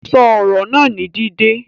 Sọ ọ̀rọ̀ naa ni dídẹ̀!